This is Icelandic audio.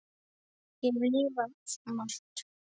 Ég hef lifað svo margt.